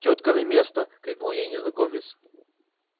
тётка на место крикнул ей незнакомец